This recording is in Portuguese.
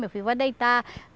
Meu filho vai deitar.